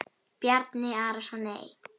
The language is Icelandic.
Bjarni Arason Nei.